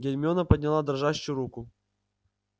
гермиона подняла дрожащую руку